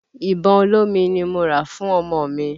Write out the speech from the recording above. Ìbọn olómi ni mo rà fún ọmọ mi.